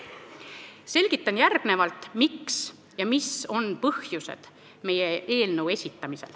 Selgitan järgnevalt, mis on põhjused, et me eelnõu esitasime.